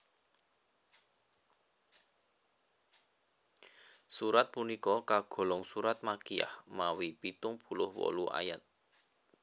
Surat punika kagolong surat makkiyah mawi pitung puluh wolu ayat